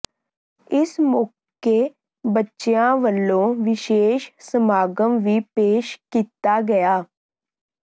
ਇਸ ਮੌਕੇ ਬੱਚਿਆਂ ਵੱਲੋਂ ਵਿਸ਼ੇਸ਼ ਸਮਾਗਮ ਵੀ ਪੇਸ਼ ਕੀਤਾ ਗਿਆ